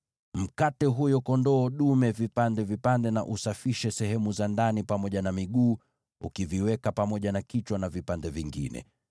Mkate huyo kondoo dume vipande vipande na usafishe sehemu za ndani pamoja na miguu, ukiviweka pamoja na kichwa na vipande vingine.